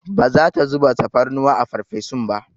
Ba za ta zuba tafarnuwa a farfesun ba.